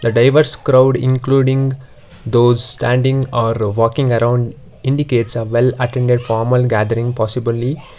the diverse crowd including those standing or walking around indicates uh well attended formal gathering possibly.